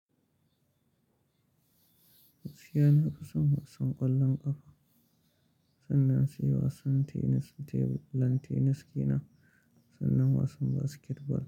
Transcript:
Gaskiya na fi son wasan ƙwallon ƙafa sannan sai wasan tenis a tebur, lan tenis kenan sannan wasan basket ball.